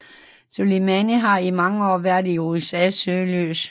Soleimani har i mange år været i USAs søgelys